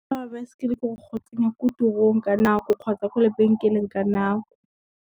Botlhokwa ba baesekele ke gore go tsamaya ko tirong ka nako kgotsa ko lebenkeleng ka nako.